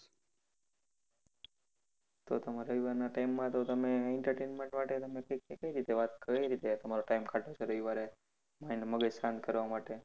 તો તમારા રવિવારના time માં તો તમે entertainment માટે તમને કઈ રીતે તમારા time કાઢો છો રવિવારે? mind મગજ શાંત કરવા માટે?